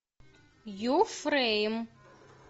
юфрейм